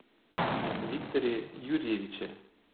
викторе юрьевиче